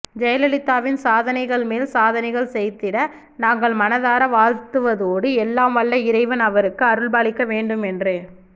ஜெயலலிதாவின் சாதனைகள் மேல் சாதனைகள் செய்திட நாங்கள் மனதார வாழ்த்துவதோடு எல்லாம் வல்ல இறைவன் அவருக்கு அருள்பாலிக்க வேண்டும் என்று